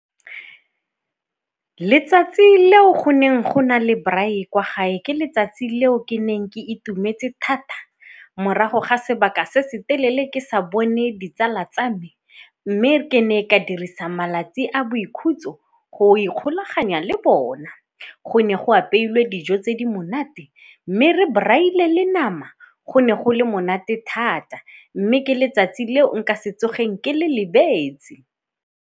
Letsatsi leo goneng go na le braai kwa gae ke letsatsi leo ke neng ke itumetse thata morago ga sebaka se se telele ke sa bone ditsala tsa me mme ke ne ka dirisang malatsi a boikhutso go ikgolaganya le bona. Go ne go apeilwe dijo tse di monate mme re braai-ile le nama, go ne go le monate thata mme ke letsatsi le nka setsogeng ke le lebetse.